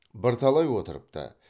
бірталай отырыпты